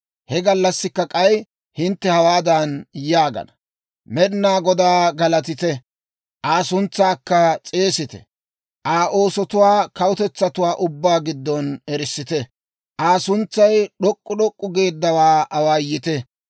He gallassi k'ay hintte hawaadan yaagana: «Med'inaa Godaa galatite! Aa suntsaakka s'eesite. Aa oosotuwaa kawutetsatuwaa ubbaa giddon erissite. Aa suntsay d'ok'k'u d'ok'k'u geeddawaa awaayite.